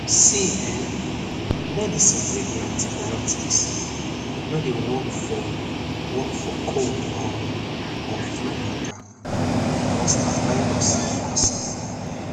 see eh medicine wey be antibiotics no dey work for work for cold um or flu mata becoz na virus dey cause am